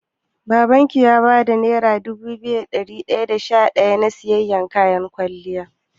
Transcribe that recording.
Babanki ya baki naira dubu biyu da dari daya da sha daya na siyan kayan kwalliyar?